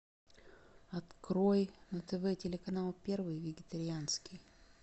открой на тв телеканал первый вегетарианский